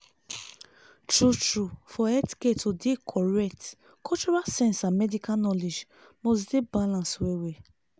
true true! for healthcare to dey correctcultural sense and medical knowledge must dey balance well-well.